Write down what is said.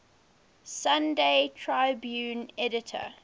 sunday tribune editor